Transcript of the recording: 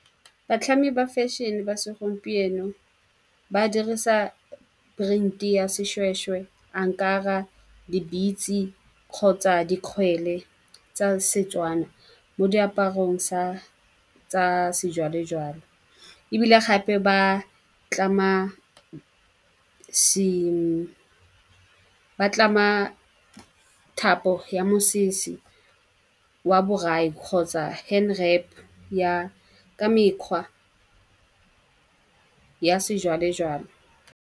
Batlhami ba fashion-e ba segompieno ba dirisa print-i ya seshweshwe, , di-beads-e kgotsa dikgwele tsa Setswana mo diaparong tsa sejwalejwale. Ebile gape ba tlama thapo ya mosese wa borai, kgotsa ya ka mekgwa ya sejwalejwale.